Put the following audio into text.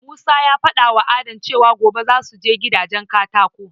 Musa ya faɗawa Adam cewa gobe zasu je gidajen katako